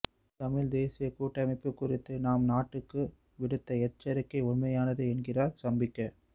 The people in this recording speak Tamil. தமிழ்த் தேசியக் கூட்டமைப்பு குறித்து தாம் நாட்டுக்கு விடுத்தஎச்சரிக்கை உண்மையானது என்கிறார் சம்பிக்க